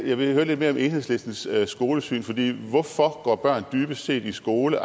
jeg vil høre lidt mere om enhedslistens skolesyn hvorfor går børn dybest set i skole